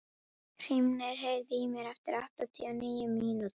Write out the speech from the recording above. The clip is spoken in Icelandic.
Hrímnir, heyrðu í mér eftir áttatíu og níu mínútur.